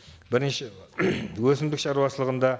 бірінші өсімдік шаруашылығында